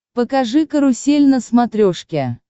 покажи карусель на смотрешке